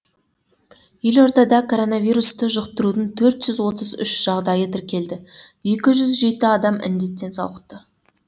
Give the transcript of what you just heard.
елордада коронавирусты жұқтырудың төрт жүз отыз үш жағдайы тіркелді екі жүз жеті адам індеттен сауықты